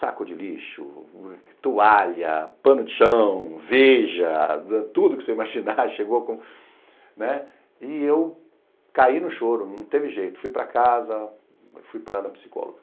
Saco de lixo, toalha, pano de chão, veja, tudo que você imaginar, chegou com... né? E eu caí no choro, não teve jeito, fui para casa, fui parar na psicóloga.